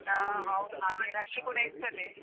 ಹಾ ಹೌದು ಹಾಗೆ rush ಕೂಡ ಇರ್ತದೆ.